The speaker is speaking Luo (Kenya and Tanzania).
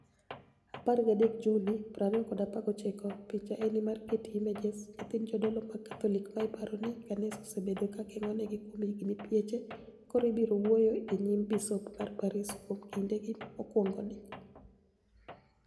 13 Juni, 2019 Picha eni mar Getty Images niyithinid jodolo mag Katholik ma paro nii kaniisa osebedo ka 'genig'ogi' kuom hignii pieche, koro biro wuoyo e niyim bisop ma Paris kuom kinidegi mokwonigo.